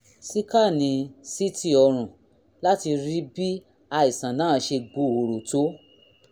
síkánì ct ọrùn láti rí bí àìsàn náà ṣe gbòòrò tó